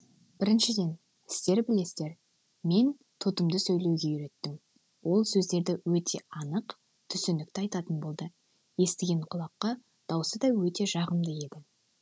біріншіден сіздер білесіздер мен тотымды сөйлеуге үйреттім ол сөздерді өте анық түсінікті айтатын болды естіген құлаққа даусы да өте жағымды еді